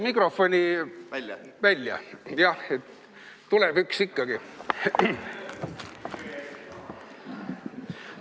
Jah, tuleb üks ikkagi.